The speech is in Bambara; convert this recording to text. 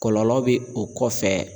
Kɔlɔlɔ bɛ o kɔfɛ